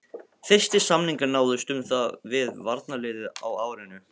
Fyrstu samningar náðust um það við varnarliðið á árinu